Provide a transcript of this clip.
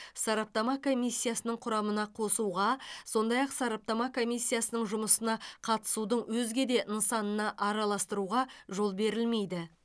сараптама комиссиясының құрамына қосуға сондай ақ сараптама комиссиясының жұмысына қатысудың өзге де нысанына араластыруға жол берілмейді